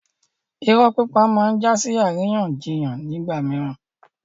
Irọ́ pípa máa ń jásí àríyànjiyàn nígbà mìíràn